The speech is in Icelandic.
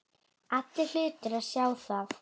Allir hlutu að sjá það.